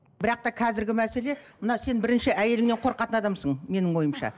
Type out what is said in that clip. бірақ та қазіргі мәселе мына сен бірінші әйеліңнен қорқатын адамсың менің ойымша